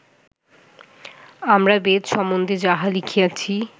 আমরা বেদ সম্বন্ধে যাহা লিখিয়াছি